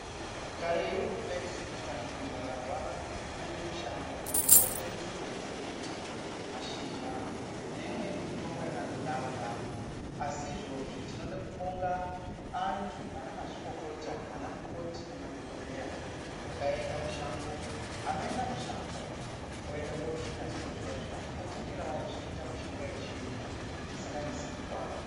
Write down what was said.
Kareyo tayiziya kuti kana munthu akarwara unoenda mushango kotsa nzinde dzemiti, mashizha neimweni mitombo yakandodarodaro. Asi izvozvi tinoda kubonga anthu anamazvikokota , anamukoti nemaDhokodheya akaenda mushango, anoenda mushango oenda kosvina zviro zviya zviya odzekera ozviita mishonga yechiyungu isinganesi kutwara.